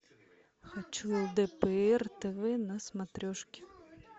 хочу лдпр тв на смотрешке